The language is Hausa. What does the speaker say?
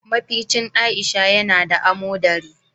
Mafecin Aisha ya na da amodari.